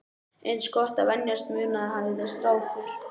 Eins gott að venjast munaðinum, hafði strákur